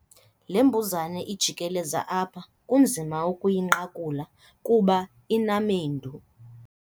Le mbuzane ijikeleza apha kunzima ukuyinqakula kuba inamendu.